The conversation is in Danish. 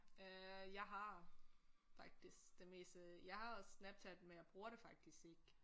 Øh jeg har faktisk det meste jeg har også Snapchat men jeg bruger det faktisk ikke